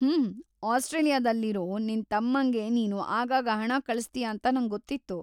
ಹೂಂ, ಆಸ್ಟ್ರೇಲಿಯಾದಲ್ಲಿರೋ ನಿನ್ತಮ್ಮಂಗೆ ನೀನು ಆಗಾಗ ಹಣ ಕಳ್ಸ್ತೀಯಾಂತ ನಂಗೊತ್ತಿತ್ತು.